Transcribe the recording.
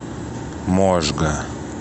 можга